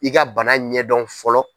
I ka bana ɲɛdɔn fɔlɔ.